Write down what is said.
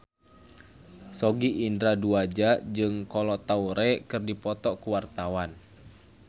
Sogi Indra Duaja jeung Kolo Taure keur dipoto ku wartawan